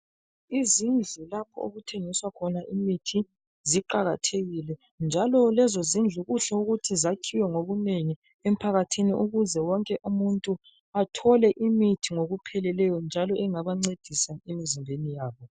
Izindlu lapho okuthengiswa khona imithi ziqakathekile njalo lezo zindlu kuhle ukuthi zakhiwe ngobunengi emphakathini ukuze wonke umuntu athole imithi ngokupheleleyo njalo engabancedisa emizimbeni yabo.